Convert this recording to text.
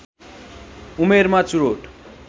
उमेरमा चुरोट